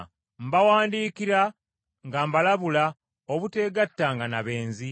Mbawandiikira nga mbalabula obutegattanga na benzi,